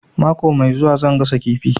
Mako mai zuwa zan gasa kifi